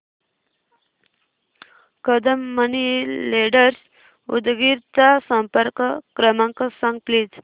Kadam money lenders Udgir चा संपर्क क्रमांक सांग प्लीज